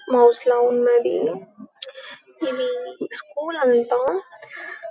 mouse లా ఉన్నది ఇది స్కూల్ అంతా--